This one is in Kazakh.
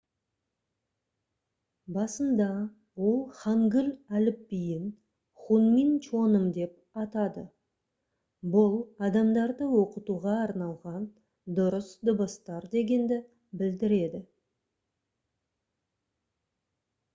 басында ол хангыль әліпбиін хунмин чоным деп атады бұл «адамдарды оқытуға арналған дұрыс дыбыстар» дегенді білдіреді